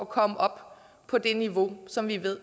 komme op på det niveau som vi ved